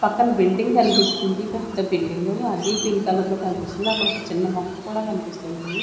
పక్కన బిల్డింగ్ కన్పిస్తుంది పెద్ద బిల్డింగు అది పింక్ కలర్లో కన్పిస్తుంది అక్కడొక చిన్న మొక్క కూడా కన్పిస్తుంది.